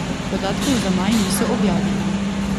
Podatkov za maj niso objavili.